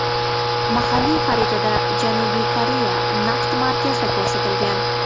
Mahalliy xaritada Janubiy Koreya naqd markazda ko‘rsatilgan.